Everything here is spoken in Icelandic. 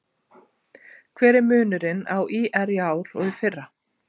Hver er munurinn á ÍR í ár og í fyrra?